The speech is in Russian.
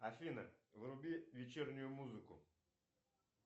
афина вруби вечернюю музыку